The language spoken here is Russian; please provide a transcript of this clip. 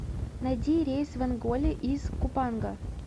найди рейс в онголе из купанга